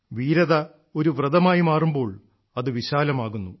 വീരത ഒരു വ്രതമായി മാറുമ്പോൾ അത് വിശാലമാകുന്നു